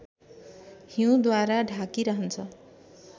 हिउँद्वारा ढाकिरहन्छ